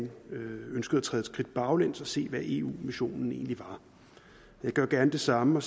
træde et skridt baglæns og se på hvad eu missionen egentlig er jeg gør gerne det samme